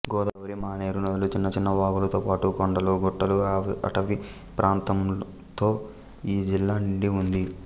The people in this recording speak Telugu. గోదావరి మానేరు నదులు చిన్నచిన్న వాగులతోపాటు కొండలు గుట్టలు అటవీ ప్రాంతంతో ఈ జిల్లా నిండివుంది